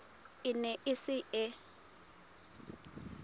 e ne e se e